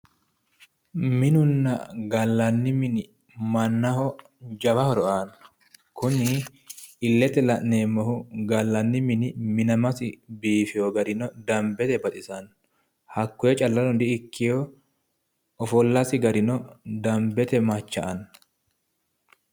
minunna gallanni mini mannaho jawa horo aanno kuni illete la'neemmohu gallanni mini minamasino biifino garino dambete baxisanno hakkoye callano di ikkino ofollasi garino dambete macha'anno.